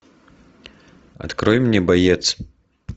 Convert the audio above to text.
открой мне боец